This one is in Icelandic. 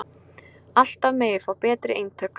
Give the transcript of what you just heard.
Alltaf megi fá betri eintök